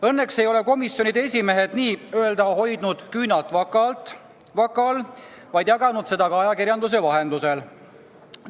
Õnneks ei ole komisjonide esimehed hoidnud küünalt vaka all, vaid jaganud seda teavet ka ajakirjanduse vahendusel.